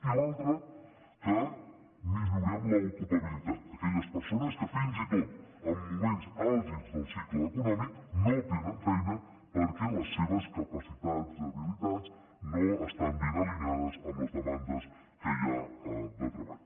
i l’altra que millorem l’ocupabilitat aquelles persones que fins i tot en moments àlgids del cicle econòmic no tenen feina perquè les seves capacitats habilitats no estan ben alineades amb les demandes que hi ha de treball